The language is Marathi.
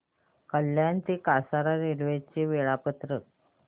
कल्याण ते कसारा रेल्वे चे वेळापत्रक